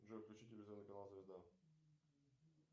джой включи телевизионный канал звезда